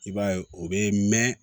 I b'a ye o bɛ mɛn